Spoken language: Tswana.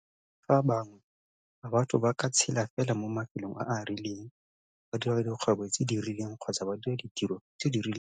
Ba boletse fa bangwe ba batho ba ka tshela fela mo mafelong a a rileng, ba dira dikgwebo tse di rileng kgotsa ba dira ditiro tse di rileng.